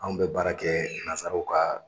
Anw bɛ baara kɛ nazaraw ka